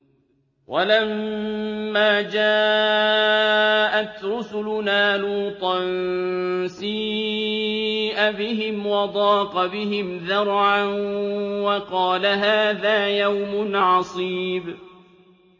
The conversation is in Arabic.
وَلَمَّا جَاءَتْ رُسُلُنَا لُوطًا سِيءَ بِهِمْ وَضَاقَ بِهِمْ ذَرْعًا وَقَالَ هَٰذَا يَوْمٌ عَصِيبٌ